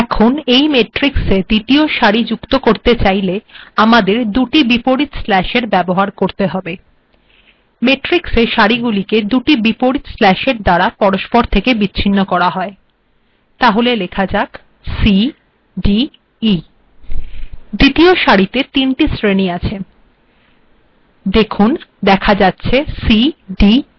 এখন এই েমট্িরক্স্এ িদ্তীয় সাির যুক্ত করেত চাইেল দুটি বিপরীত স্ল্যাশ এর ব্যবহার করতে হবে েমট্িরক্স্এর সািরগুিলেক দুিট িবপরীত স্ল্যাশ্ এর দ্বারা পরস্পর থেকে বিচ্ছিন্ন করা হয়